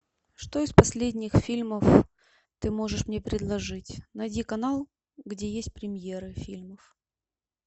что из последних фильмов ты можешь мне предложить найди канал где есть премьеры фильмов